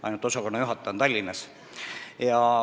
Ainult osakonnajuhataja on Tallinnas.